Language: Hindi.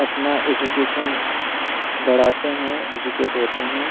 अपना एजुकेशन बढ़ाते हैं एजुकेटेड होते हैं।